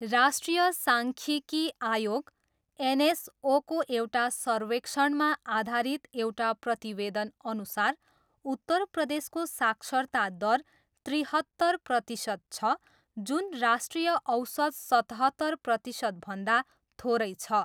राष्ट्रीय साङ्ख्यिकी आयोग, एनएसओको एउटा सर्वेक्षणमा आधारित एउटा प्रतिवेदनअनुसार उत्तर प्रदेशको साक्षरता दर त्रिहत्तर प्रतिशत छ जुन राष्ट्रिय औसत सतहत्तर प्रतिशतभन्दा थोरै छ।